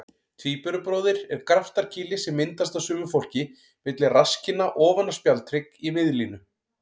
Tvíburabróðir er graftarkýli sem myndast á sumu fólki milli rasskinna ofan á spjaldhrygg í miðlínu.